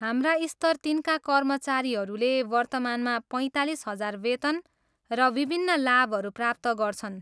हाम्रा स्तर तिनका कर्मचारीहरूले वर्तमानमा पैँतालिस हजार वेतन र विभिन्न लाभहरू प्राप्त गर्छन्।